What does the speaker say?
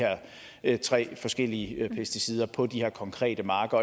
her tre forskellige pesticider på de her konkrete marker